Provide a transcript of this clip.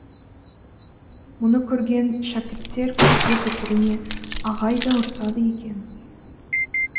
мұны көрген шәкірттер көшеде бір біріне ағай да ұрсады екен